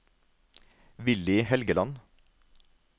Villy Helgeland